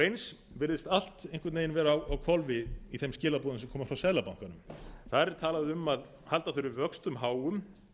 eins virðist allt einhvern veginn vera á hvolfi í þeim skilaboðum sem koma frá seðlabankanum þar er talað um að halda þurfi vöxtum háum